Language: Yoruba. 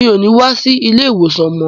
Mi ò ní wá sí ilé-ìwòsàn mọ́.